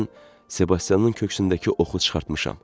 Mən Sebastianın köksündəki oxu çıxartmışam.